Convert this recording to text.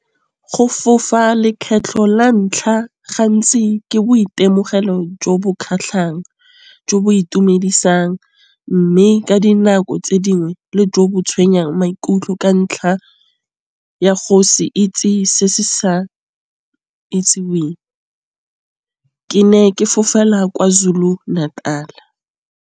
Go fofa le kgetlho la ntlha gantsi ke boitemogelo jo bo kgatlhang, jo bo itumedisang. Mme ka dinako tse dingwe le jo bo tshwenyang maikutlo ka ntlha ya go se itse se se sa itseweng. Ke ne ke fofela KwaZulu-Natal.